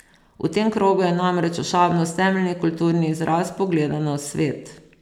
V tem krogu je namreč ošabnost temeljni kulturni izraz pogleda na svet.